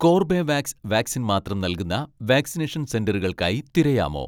Corbevax vaccine മാത്രം നൽകുന്ന vaccination സെന്ററുകൾക്കായി തിരയാമോ